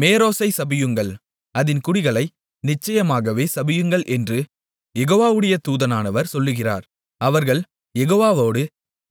மேரோசைச் சபியுங்கள் அதின் குடிகளை நிச்சயமாகவே சபியுங்கள் என்று யெகோவாவுடைய தூதனானவர் சொல்லுகிறார் அவர்கள் யெகோவாவோடு